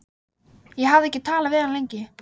Ég hafði ekki talað við hann lengi.